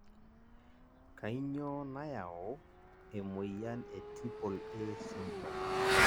kanyioo nayau e moyian e Triple A syndrome?